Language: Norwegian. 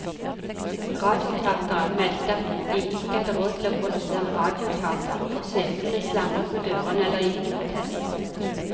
Radioteateret meldte at de ikke hadde råd til å produsere radioteater, og sjefene slamret med dørene eller gikk i protest.